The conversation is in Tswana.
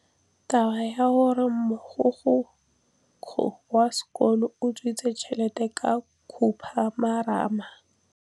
Taba ya gore mogokgo wa sekolo o utswitse tšhelete ke khupamarama.